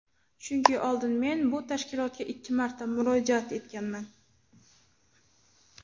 Chunki oldin men bu tashkilotga ikki marta murojaat etganman.